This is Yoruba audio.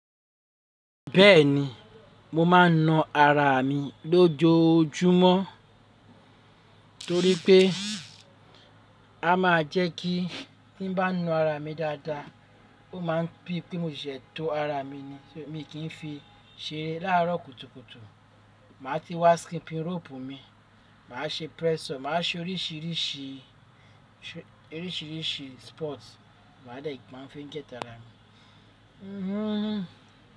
Bẹ́ẹ̀ni, mo máa ń na ara mi lójoojúmọ́ torí pé, a máa jẹ́ kí tí ń bá na ara mi dáadáa ó máa ń bí pé mò ṣẹ̀se tó ara mi ni. Mi kì í fi ṣeré láàrọ̀ kùtùkùtù. Màá ti wá skipping rope mi, màá ṣe press up, màá ṣe oríṣìíríṣìí, oríṣìíríṣìí sport màá dẹ̀ mo máa fi ń get ara mi.